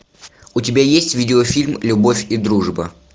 у тебя есть видеофильм любовь и дружба